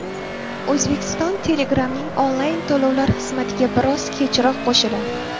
O‘zbekiston Telegram’ning onlayn-to‘lovlar xizmatiga biroz kechroq qo‘shiladi.